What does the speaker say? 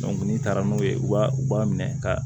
n'i taara n'o ye u b'a u b'a minɛ ka